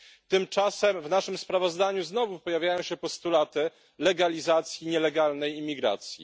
Tymczasem w naszym sprawozdaniu znowu pojawiają się postulaty legalizacji nielegalnej imigracji.